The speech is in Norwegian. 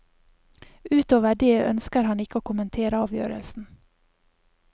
Utover det ønsker han ikke å kommentere avgjørelsen.